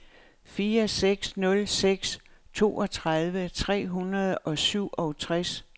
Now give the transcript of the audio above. fire seks nul seks toogtredive tre hundrede og syvogtres